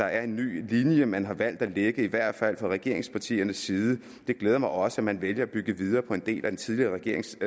er en ny linje man har valgt at lægge i hvert fald fra regeringspartiernes side det glæder mig også at man vælger at bygge videre på en del af den tidligere regerings